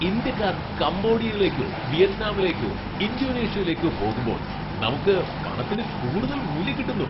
ഇന്ത്യക്കാർ കംബോഡിയയിലേക്കോ വിയറ്റ്നാമിലേക്കോ ഇന്തോനേഷ്യയിലേക്കോ പോകുമ്പോൾ നമുക്ക് പണത്തിന് കൂടുതൽ മൂല്യം കിട്ടുന്നു.